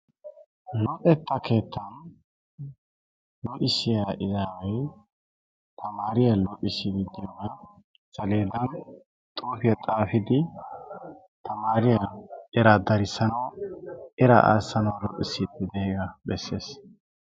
Luxetta keettaa luxissiya izaaway tamaariya luxissiiddi diyogaa saleedan xuufiya xaafidi tamaariyawu eraa darissanawu, eraa aassanawu luxissiiddi diyagaa bessees.